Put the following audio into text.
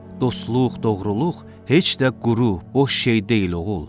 Dostluq, doğruluq heç də quru, boş şey deyil, oğul.